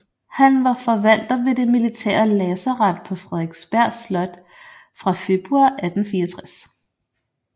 Han var forvalter ved det militære lazaret på Frederiksberg Slot fra februar 1864